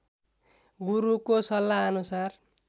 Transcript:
गुरुको सल्लाहअनुसार